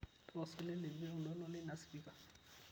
tapasali lepie oltoito leina spika